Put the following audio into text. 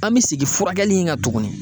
An me segin furakɛli in kan tuguni